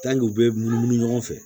u bɛ munumunu ɲɔgɔn fɛ